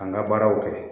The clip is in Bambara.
An ka baaraw kɛ